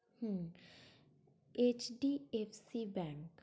hmm HDFC Bank